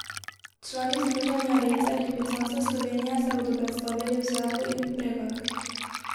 Člani Združenja rejcev lipicanca Slovenije se bodo predstavili v sedlu in v vpregah.